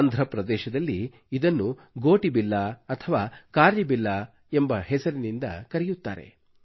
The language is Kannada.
ಆಂಧ್ರಪ್ರದೇಶದಲ್ಲಿ ಇದನ್ನು ಗೋಟಿಬಿಲ್ಲಾ ಅಥವಾ ಕಾರ್ರಿಬಿಲ್ಲಾ ಎಂಬ ಹೆಸರಿನಿಂದ ಕರೆಯುತ್ತಾರೆ